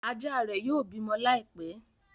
ajà ré yio bímọ Láìpé.